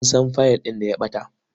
Mun san fayil ɗin da ya ɓata.